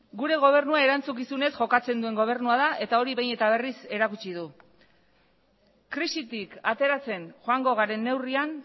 gure gobernuak erantzukizunez jokatzen duen gobernua da eta hori behin eta berriz erakutsi du krisitik ateratzen joango garen neurrian